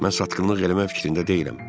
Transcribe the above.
Mən satqınlıq eləmək fikrində deyiləm.